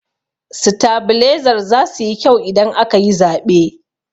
Sitabilezar zasu yi kyau idan aka yi zaɓe.